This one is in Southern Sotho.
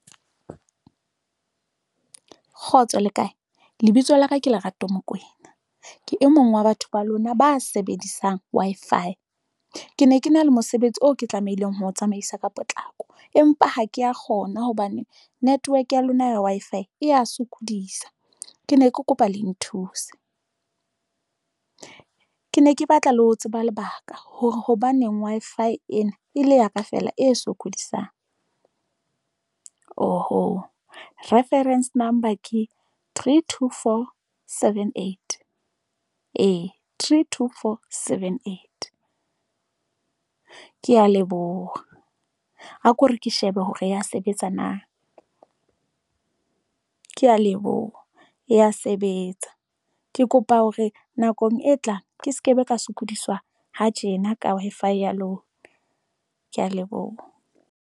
Kgotso le kae lebitso la ka ke Lerato. Mokoena ke e mong wa batho ba lona ba sebedisang Wi-Fi ke ne ke na le mosebetsi oo ke tlamehileng ho tsamaisa ka potlako, empa ha kea kgona hobane network ya lona ya Wi-Fi e ya sokodisa. Ke ne ke kopa le nthuse, Ke ne ke batla le ho tseba lebaka hore hobaneng Wi-Fi ena e le ya ka feela e sokodisang oho. Reference number ka three, two, four, seven, eight, Ee, three, two, four, seven, eight. Ke ya leboha a kore ke sheba ebe hore ya sebetsa na ke ya leboha e ya sebetsa. Ke kopa hore nakong e tlang ke sekebe ka sokodiswa ha tjena ka Wi-Fi ya lona, ke ya leboha.